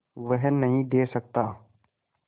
वह नदीं दे सकता